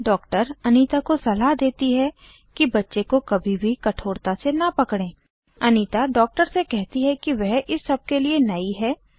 doctor Anita को सलाह देती है कि बच्चे को कभी भी कठोरता से न पकड़ें अनीता डॉक्टर से कहती है की वह इस सब के लिए नयी है